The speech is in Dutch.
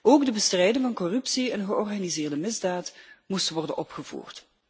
Ook de bestrijding van corruptie en georganiseerde misdaad moest worden opgevoerd.